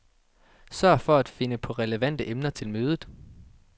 Sørg for at finde på relevante emner til mødet.